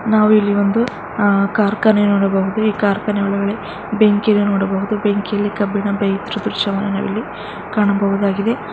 ನಾವಿಲ್ಲಿ ಒಂದು ಕಾರ್ಖಾನೆಯನ್ನು ನೋಡಬಹುದು ಈ ಕಾರ್ಖಾನೆ ಒಳಗೆ ಬೆಂಕಿಯನ್ನು ನೋಡಬಹುದು ಬೆಂಕಿಯಲ್ಲಿ ಕಬ್ಬಿಣ ಬೇಯುತ್ತಿರುವ ದೃಶ್ಯವನ್ನು ನಾವಿಲ್ಲಿ ಕಾಣಬಹುದಾಗಿದೆ.